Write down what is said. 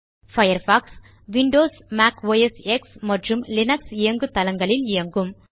Firefox Windows Mac OS X மற்றும் Linux இயங்குதளங்களில் இயங்கும்